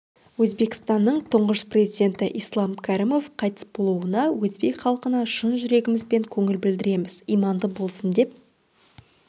өзбекстанның тұңғыш президенті ислам кәрімов қайтыс болуына өзбек халқына шын жүрегімізбен көңіл білдіреміз иманды болсын деп